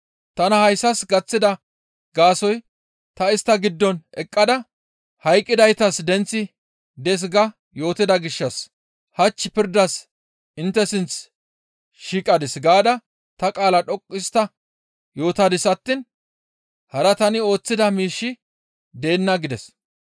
Tana hayssas gaththida gaasoykka ta istta giddon eqqada, ‹Hayqqidaytas denththi dees› ga yootida gishshas, ‹Hach pirdas intte sinth shiiqadis› gaada ta qaalaa dhoqqu histta yootadis attiin hara tani ooththida miishshi deenna» gides.